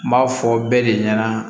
N b'a fɔ bɛɛ de ɲɛna